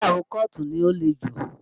Ìgbéyàwó kọ́ọ̀tù ni ó le jù